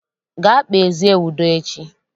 Gaa kpezie udo echi!